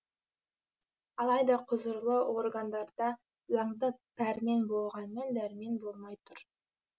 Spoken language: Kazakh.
алайда құзырлы органдарда заңды пәрмен болғанмен дәрмен болмай тұр